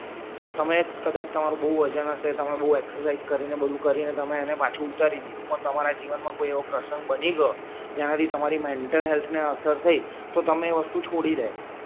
તમે કદાચ તમારું બવ વજન હસે તમે બવ એક્સસેસાઈસ કરી ને બધુ કરી ને તમે એને પાછું ઉતારી દીધું પણ તમારા જીવન માં કોઈ એવો પ્રસંગ બની ગયો જય આવી તમારી મેન્ટલ હેલ્થ ને અસર થઈ તો તમે એ વસ્તુ છોડી દે સો